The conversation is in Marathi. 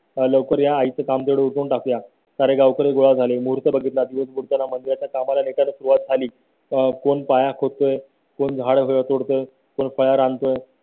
लवकर या आईच काम तेवढं उरकून टाकूया सारे गावकरी गोळा झाले. मोर्चा बघितला तीरुप्पूर मध्ये कामाला एका सुरूवात झाली तर कोण पाया खोद तोय कोण झाड तोडत